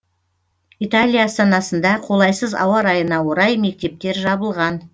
италия астанасында қолайсыз ауа райына орай мектептер жабылған